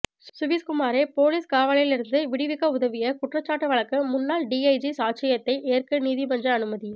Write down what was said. சுவிஸ்குமாரை police காவலிலிருந்து விடுவித்த உதவிய குற்றச்சாட்டு வழக்கு முன்னாள் டிஜஜியின் சாட்சியத்தை ஏற்க நீதிமன்று அனுமதி